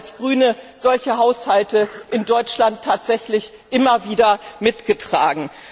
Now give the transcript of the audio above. Wir haben als Grüne solche Haushalte in Deutschland tatsächlich immer wieder mitgetragen.